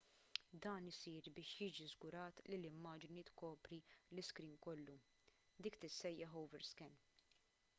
dan isir biex jiġi żgurat li l-immaġni tkopri l-iskrin kollu dik tissejjaħ overscan